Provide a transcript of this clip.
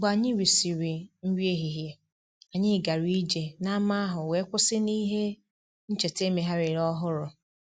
Mgbe anyị risịrị nri ehihie, anyị gara ije n’ámá ahụ wee kwụsị n’ihe ncheta e megharịrị ọhụrụ